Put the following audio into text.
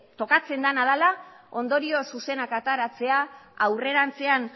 tokatzen dena dela ondorio zuzenak ateratzea aurrerantzean